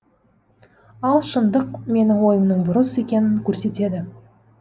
ал шындық менің ойымның бұрыс екенін көрсетеді